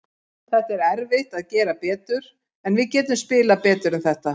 Það er erfitt að gera betur, en við getum spilað betur en þetta.